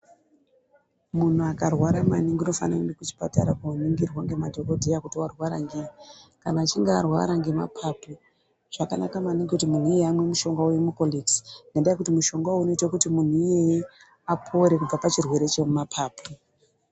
Munhu akarwara maningi unofana kuenda kuchipatara kuno ningirwa nemadhokoteya kuti arwara ngei kana achinge arwara nemapapu zvakanaka maningi kuti munhu iyeye amwe mushonga wemukondenzi ngenda yekuti mushonga uyu unoita kuti munhu iyeye apore kubva pachirwere chemapapu.